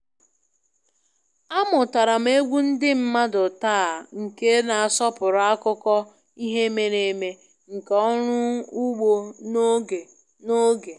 Amụtara m egwu ndị mmadụ taa nke na-asọpụrụ akụkọ ihe mere eme nke ọrụ ugbo n'oge n'oge